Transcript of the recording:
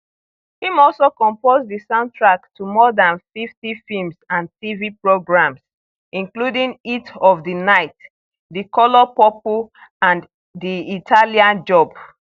im also compose di soundtrack to more dan 50 films and tv programmes including heat of di night di color purple and di italian job